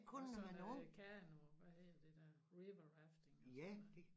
Og sådan noget kano hvad hedder det der river rafting eller sådan noget